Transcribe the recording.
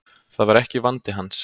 Það var ekki vandi hans.